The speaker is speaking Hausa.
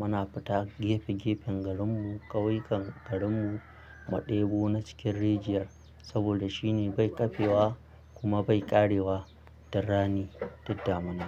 muna fita gefe gefen garin mu ƙauyukan garin mu maɗebu na cikin rijiyar saboda shine bai ƙafe wa kuma bai ƙare wa ta rani tunda mun.